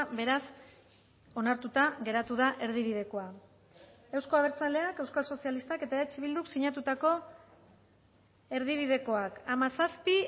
beraz onartuta geratu da erdibidekoa euzko abertzaleak euskal sozialistak eta eh bilduk sinatutako erdibidekoak hamazazpi